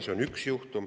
See on üks juhtum.